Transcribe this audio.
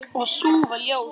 Og sú var ljót!